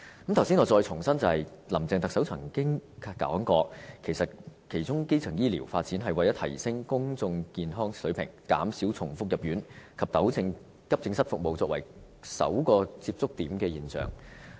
我剛才重申，林鄭特首曾經表示，發展基層醫療是為了提升公眾健康的水平，減少重複入院及糾正以急症室服務作為求診首個接觸點的現象。